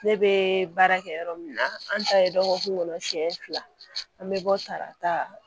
Ne bɛ baara kɛ yɔrɔ min na an ta ye dɔgɔkun kɔnɔ siyɛn fila an bɛ bɔ tarata